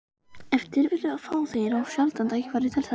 Ef til vill fá þeir of sjaldan tækifæri til þess.